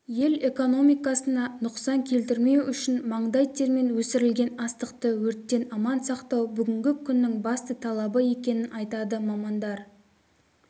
ел экономикасына нұқсан келтірмеу үшін маңдай термен өсірілген астықты өрттен аман сақтау бүгінгі күннің басты талабы екенін айтады мамандар